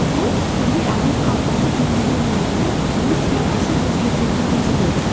бұл бізге әдет қалыптасып бекейгеннен кейін ми схемасын өзгертетінін көрсетеді